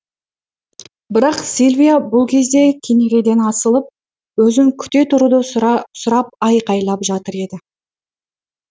бірақ сильвия бұл кезде кенереден асылып өзін күте тұруды сұрап айқайлап жатыр еді